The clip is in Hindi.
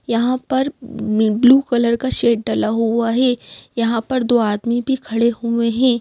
यहाँ पर नी ब्लू कलर का शेड डाला हुआ है यहाँ पर दो आदमी भी खड़े हुए हैं।